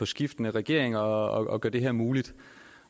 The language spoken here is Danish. skiftende regeringer og gør det her muligt